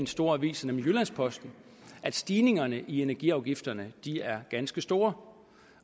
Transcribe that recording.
store aviser nemlig jyllands posten at stigningerne i energiafgifterne er ganske store